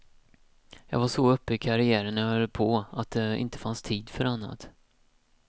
Jag var så uppe i karriären när jag höll på att det inte fanns tid för annat.